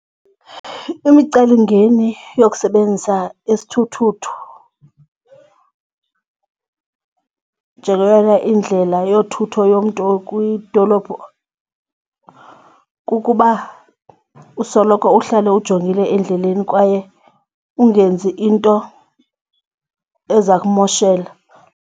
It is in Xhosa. Imicelimingeni yokusebenzisa isithuthuthu njengeyona indlela yothutho yomntu okwidolophu kukuba usoloko uhlale ujongile endleleni kwaye ungenzi into ezakumoshela.